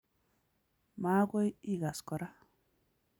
Magoi igaas kora